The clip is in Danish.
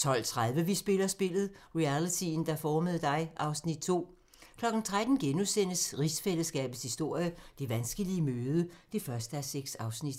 12:30: Vi spiller spillet - realityen, der formede dig (Afs. 2) 13:00: Rigsfællesskabets historie: Det vanskelige møde (1:6)*